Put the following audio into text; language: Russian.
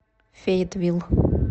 фейетвилл